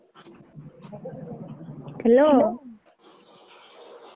Hello.